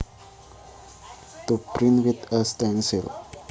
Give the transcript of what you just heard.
To print with a stencil